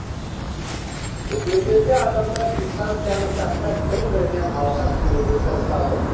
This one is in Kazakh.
дүкендерде адамдар дистанцияны сақтап бір бірінен алшақ жүруге тырысады